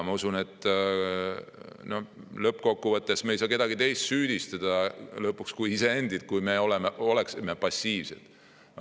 Ma usun, et lõppkokkuvõttes on nii, et kui me oleksime passiivsed, siis me ei saaks lõpuks süüdistada kedagi teist peale iseenda.